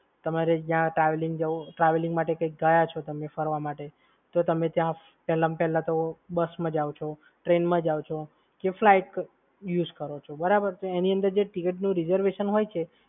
તમારે જ્યાં ટ્રાવેલિંગ જવું ટ્રાવેલિંગ માટે કઈ ગયા છો તમે ફરવા માટે, તો તમે ત્યાં પહેલામ પહેલા તો બસમાં જાવ છો, ટ્રેનમાં જાવ છો કે ફ્લાઇટ યુજ કરો છો. બરાબર? તો એની અંદર જે ticket reservation હોય છે,